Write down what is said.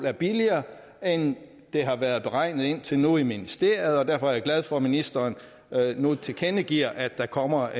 er billigere end det har været beregnet indtil nu i ministeriet derfor er jeg glad for at ministeren nu tilkendegiver at der kommer